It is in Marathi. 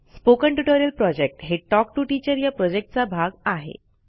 स्पोकन ट्युटोरियल प्रॉजेक्ट हे टॉक टू टीचर या प्रॉजेक्टचा भाग आहे